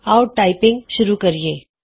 ਆਉ ਟਾਈਪਿੰਗ ਸ਼ੁਰੂ ਕਰੀਏ